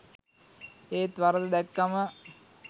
ඒත් වරද දැක්කම